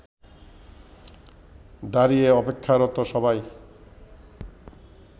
দাঁড়িয়ে অপেক্ষারত সবাই